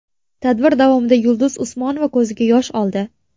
Tadbir davomida Yulduz Usmonova ko‘ziga yosh oldi.